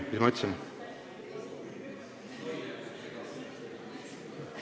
Mis ma ütlesin?